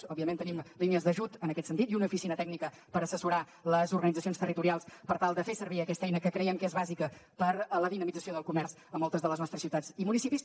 òbviament tenim línies d’ajut en aquest sentit i una oficina tècnica per assessorar les organitzacions territorials per tal de fer servir aquesta eina que creiem que és bàsica per a la dinamització del comerç a moltes de les nostres ciutats i municipis